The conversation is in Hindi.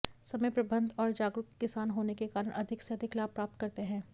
समय प्रबंध और जागरूक किसान होने के कारण अधिक से अधिक लाभ प्राप्त करते हैं